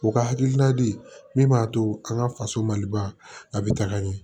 U ka hakilila di min b'a to an ka faso maliba a bɛ taga ɲɛ